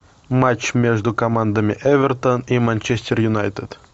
матч между командами эвертон и манчестер юнайтед